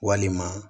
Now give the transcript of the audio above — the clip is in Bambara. Walima